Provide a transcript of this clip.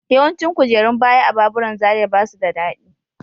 Yawancin kujerun baya a baburan Zaria ba su da daɗi.